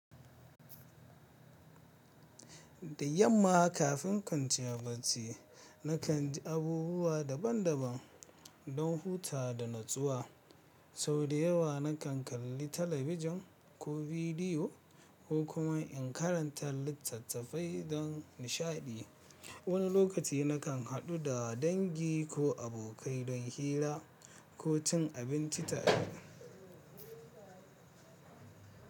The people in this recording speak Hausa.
Da yamma kafin kantin barci, na kan ji abubuwa daban-daban don hutawa da natsuwa. Sau da yawa na kan kalli talabijin ko bidiyo ko kuma in karanta littattafai don nishaɗi. Wani lokaci na kan haɗu da dangi ko abokai don hira ko cin abinci tare.